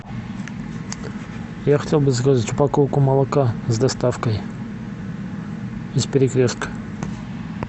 я хотел бы заказать упаковку молока с доставкой из перекрестка